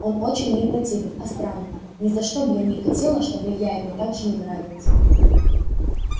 он очень мне противен а странно ни за что б я не хотела чтоб и я ему так же не нравилась